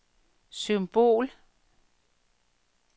symbol